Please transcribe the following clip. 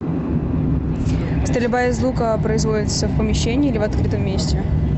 стрельба из лука производится в помещении или в открытом месте